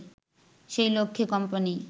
সেই লক্ষ্যে কোম্পানি